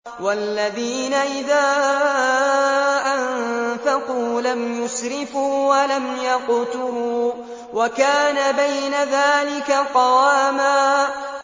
وَالَّذِينَ إِذَا أَنفَقُوا لَمْ يُسْرِفُوا وَلَمْ يَقْتُرُوا وَكَانَ بَيْنَ ذَٰلِكَ قَوَامًا